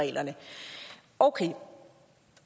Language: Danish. reglerne okay